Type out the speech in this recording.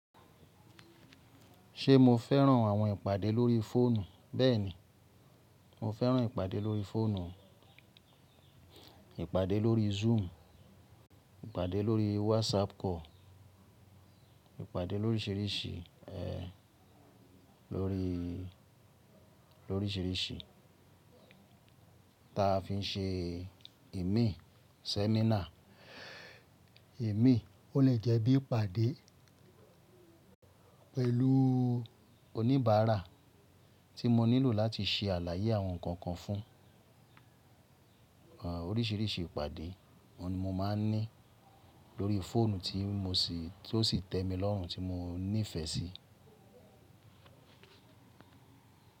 Ṣe mo fẹ́ràn àwọn ìpàdé lórí fóònù? Bẹ́ẹ̀ni, mo fẹ́ràn ìpàdé lórí fóònù, ìpàdé lórí Zoom, ìpàdé lórí WhatsApp call, ìpàdé lóríṣírìṣí, ẹ, lórí, lóríṣírìṣí, ta fi ń ṣe emí seminar. Emíí o le jẹ́ bí ìpàdé. Pẹ̀lú oníbàárà tí mo nílò láti ṣe àlàyé àwọn nǹkan kan fún. Ẹ, oríṣiríṣi ìpàdé òùn ni mò máa ń ní lórí fóònù tí mo sì, tó sì tẹ́ mi lọ́rùn, tí mo nífẹ̀ẹ́ sí.